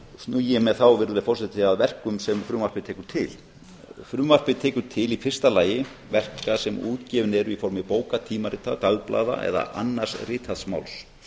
ég mér þá virðulegi forseti að verkum sem frumvarpið tekur til frumvarpið tekur til í fyrsta lagi verka sem útgefin eru í formi bóka tímarita dagblaða eða annars ritaðs máls